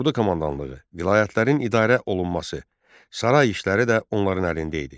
Ordu komandanlığı, vilayətlərin idarə olunması, saray işləri də onların əlində idi.